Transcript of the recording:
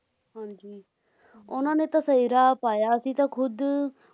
ਉਨ੍ਹਾਂ ਨੇ ਤਾਂ ਸਹੀ ਰਾਹ ਪਾਇਆ ਅਸੀਂ ਤਾਂ ਖੁਦ